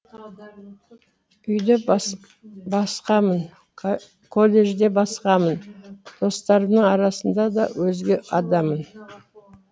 үйде басқамын колледжде басқамын достарымның арасында да өзге адаммын